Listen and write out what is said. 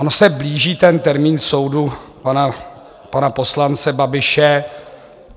On se blíží ten termín soudu pana poslance Babiše.